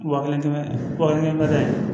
Wa kelen kɛmɛda